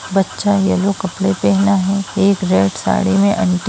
बच्चा येल्लो कपडा पहना है। एक रेड साड़ी में आंटी --